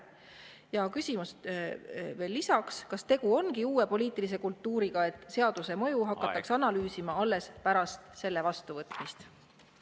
Ja veel on küsimus, kas tegu ongi uue poliitilise kultuuriga, et seaduse mõju hakatakse analüüsima alles pärast selle vastuvõtmist.